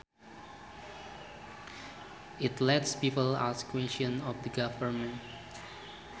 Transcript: It lets people ask questions of the government